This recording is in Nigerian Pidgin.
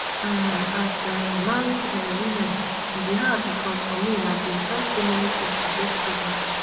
um as um married um woman e bin hard becosfor me i bin try so many tins to get pregnant.